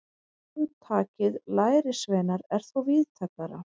Hugtakið lærisveinar er þó víðtækara.